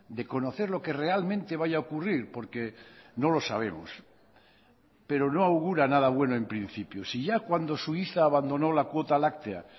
de conocer lo que realmente vaya a ocurrir porque no lo sabemos pero no augura nada bueno en principio si ya cuando suiza abandonó la cuota láctea